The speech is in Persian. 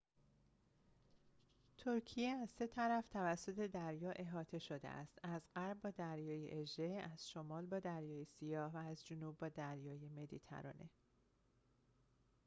ترکیه از سه طرف توسط دریا احاطه شده است از غرب با دریای اژه از شمال با دریای سیاه و از جنوب با دریای مدیترانه